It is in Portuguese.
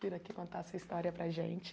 Vir aqui contar a sua história para a gente.